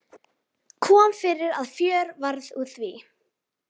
Kom fyrir að fjör varð úr því.